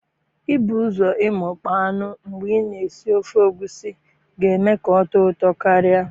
Ibu ụzọ imikpo anụ mgbe i na esi ofe egusi ga eme ka ọ tọọ ụtọ karịa